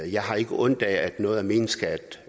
jeg har ikke ondt af at noget af min skat